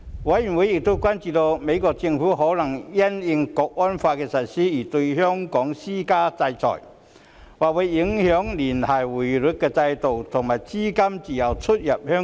委員亦關注美國政府可能會因應《港區國安法》的實施而對香港施加制裁，或會影響聯繫匯率制度和資金自由進出香港。